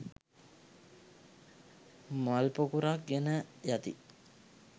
මල් පොකුරක් ගෙන යති.